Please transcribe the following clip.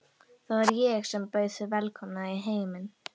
Það var ég sem bauð þig velkomna í heiminn.